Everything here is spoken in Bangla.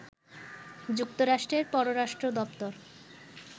যুক্তরাষ্ট্রের পররাষ্ট্র দপ্তর